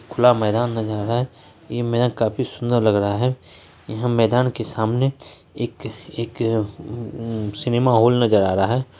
खुला मैदान नज़र आ रहा है यह मैदान काफी सुंदर लग रहा है यहाँ मैदान के सामने एक एक सिनेमा हॉल नज़र आ रहा है।